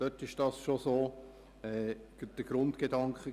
Damals war das bereits der Grundgedanke.